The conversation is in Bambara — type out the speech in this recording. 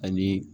Ani